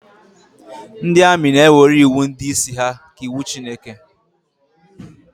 Ndị amị na-ewere iwu ndị isi ha ka iwu Chineke